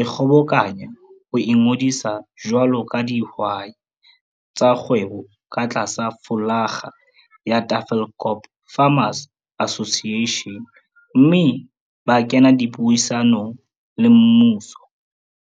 ikgobokanya ho ingodisa jwalo ka dihwai tsa kgwebo ka tlasa flolaga ya Tafelkop Farmers Association mme ba kena dipuisanong le mmuso.